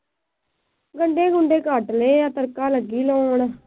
ਗੰਡੇ ਗੁੰਡੇ ਕੱਟ ਲਏ ਆ। ਤੜਕਾ ਲੱਗੀ ਲਾਉਣ।